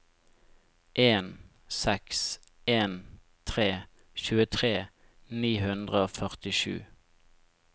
en seks en tre tjuetre ni hundre og førtisju